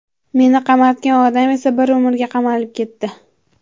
Meni qamatgan odam esa bir umrga qamalib ketdi.